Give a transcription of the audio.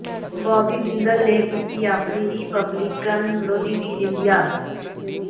ਬੌਬੀ ਜਿੰਦਲ ਨੇ ਕੀਤੀ ਆਪਣੇ ਰਿਪਬਲਿਕਨ ਵਿਰੋਧੀ ਦੀ ਨਿੰਦਿਆ